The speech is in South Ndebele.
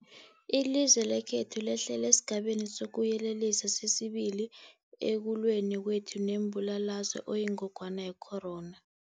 Ilizwe lekhethu lehlele esiGabeni sokuYelelisa sesi-2 ekulweni kwethu nombulalazwe oyingogwana ye-corona.